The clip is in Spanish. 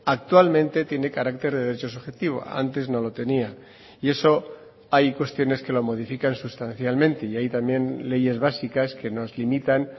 actualmente tiene carácter de derecho subjetivo antes no lo tenía y eso hay cuestiones que lo modifican sustancialmente y hay también leyes básicas que nos limitan